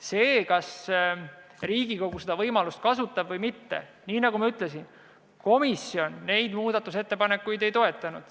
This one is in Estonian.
See, kas Riigikogu seda võimalust kasutab või mitte – nagu ma ütlesin, komisjon neid muudatusettepanekuid ei toetanud.